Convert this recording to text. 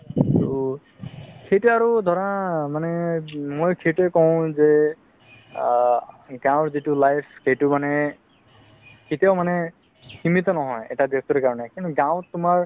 তেতিয়া আৰু ধৰা মানে মই সেইটোয়ে কও যে আ গাওঁৰ যিতো life সেইটো মানে কেতিয়াও মানে সিমিত নহয় এটা ব্যাক্তিৰ কাৰণে কিন্তু গাওঁত তোমাৰ